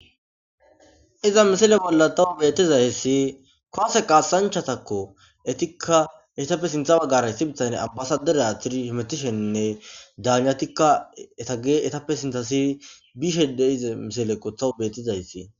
iza misile bolla tawu betizay hessi koose qaasanchatakko etikka etappe sintha baggaray sibitayne abbasaderea tiri himetisheinne daanatikka eta ge etappe sintasi bishede ize misilekko tawu bettizayssi